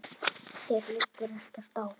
Þér liggur ekkert á.